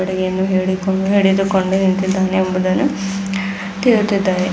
ಕಟ್ಟಗಿಯನ್ನು ಹಿಡಿದುಕೊಂಡು ಹಿಡಿದುಕೊಂಡು ನಿಂತಿದ್ದಾನೆ ಒಬ್ಬ --